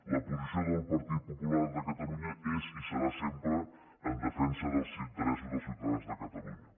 la posició del partit popular de catalunya és i serà sempre en defensa dels interessos dels ciutadans de catalunya